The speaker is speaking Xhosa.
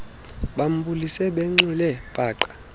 bambulise benxile paqa